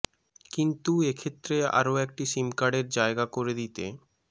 কিন্তু এ ক্ষেত্রে আরও একটি সিমকার্ডের জায়গা করে দিতে